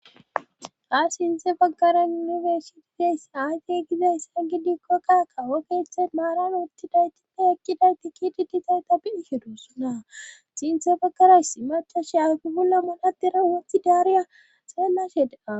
ha sinte baggara yunifersitites aate giza issa gidi kokqaka wokeethe maaran wutti daytite ekkidayti kidi ditay ta biihedussuna sinthe baggaras si maca she afibula munatira wothi daariya xeellashe daa